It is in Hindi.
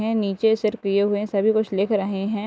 हैं नीचे सिर किये हुए हैं सभी कुछ लिख रहे हैं |